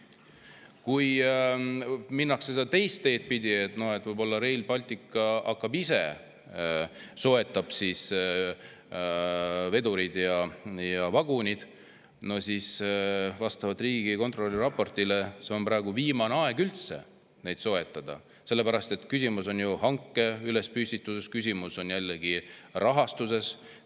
Või kui minnakse teist teed pidi, et Rail Baltic ise soetab vedurid ja vagunid, siis on Riigikontrolli raporti järgi üldse praegu viimane aeg neid soetada, sest küsimus on hanke püstituses, küsimus on jällegi rahastuses.